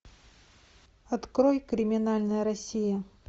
открой криминальная россия